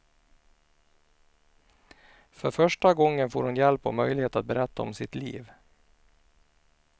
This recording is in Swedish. För första gången får hon hjälp och möjlighet att berätta om sitt liv.